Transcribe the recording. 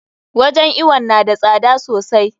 Wajen iwon na da tsada sosai.